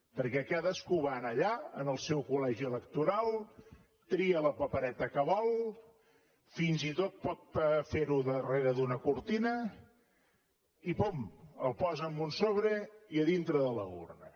perquè cadascú va allà al seu col·legi electoral tria la papereta que vol fins i tot pot fer ho darrere d’una cortina i pum ho posa en un sobre i a dintre de l’urna